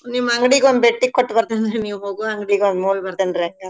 ನಿಮ್ ಅಂಗ್ಡಿಗ್ ಒಮ್ ಬೆಟ್ಟಿ ಕೊಟ್ಬರತೇನ್ರೀ ನೀವ್ ಹೋಗೋ ಅಂಗ್ಡಿಗ್ ಒಮ್ ಹೋಗ್ಬರ್ತೇನ್ರಿ ಹಂಗಾರ.